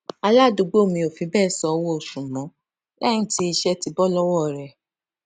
aládùúgbò mi ò fi béè sanwó oṣù mó léyìn tí iṣé bó lówó rè